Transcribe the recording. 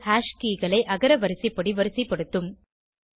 இது ஹாஷ் keyகளை அகரவரிசைப்படி வரிசைப்படுத்தும்